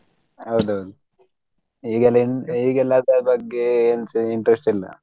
ಹೌದ್ ಹೌದು ಈಗೆಲ್ಲ ಎ ಈಗೆಲ್ಲ ಅದ್ರ ಬಗ್ಗೆ ಎಂತ interest ಇಲ್ಲ.